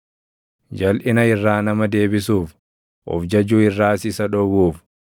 jalʼina irraa nama deebisuuf, of jajuu irraas isa dhowwuuf,